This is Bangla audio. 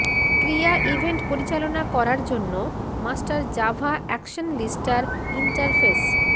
ক্রিয়া ইভেন্ট পরিচালনা করার জন্য মাস্টার জাভা অ্যাকশনলিস্টার ইন্টারফেস